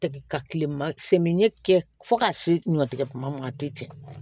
Tɛ ka kile ma semiɲɛ kɛ fo ka se ɲɔtigɛ ma a tɛ tiɲɛ